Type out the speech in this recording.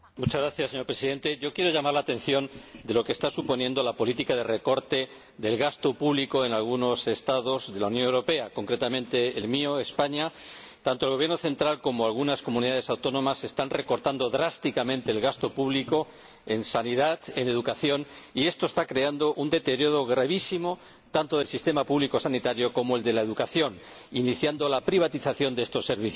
Señor Presidente, quiero llamar la atención sobre lo que está suponiendo la política de recorte del gasto público en algunos Estados de la Unión Europea, concretamente en el mío, España. En España, tanto el Gobierno central como algunas comunidades autónomas están recortando drásticamente el gasto público en sanidad y en educación, y esto está creando un deterioro gravísimo tanto del sistema público sanitario como el de la educación, iniciando la privatización de estos servicios.